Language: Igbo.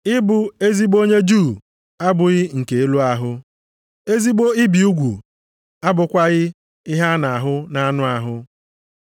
Ị bụ ezigbo onye Juu abụghị nke elu ahụ. Ezigbo ibi ugwu abụkwaghị ihe a na-ahụ nʼanụ ahụ.